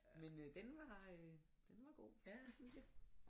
Men øh den var øh den var god det synes jeg